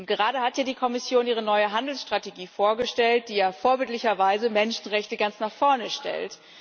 Gerade hat die Kommission ihre neue Handelsstrategie vorgestellt, die ja in vorbildlicher Weise Menschenrechte ganz nach vorne stellt.